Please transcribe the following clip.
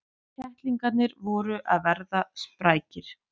Kettlingarnir voru að verða sprækir.